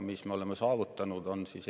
Mis me oleme saavutanud?